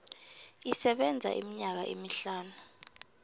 isebenza iminyaka emihlanu